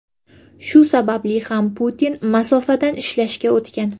Shu sababli ham Putin masofadan ishlashga o‘tgan.